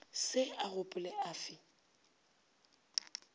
se a gopolega a fe